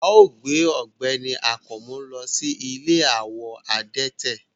Ao gbe ọgbẹni Akanmu lo si ìlé awọ adẹtẹ